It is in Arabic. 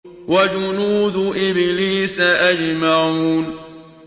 وَجُنُودُ إِبْلِيسَ أَجْمَعُونَ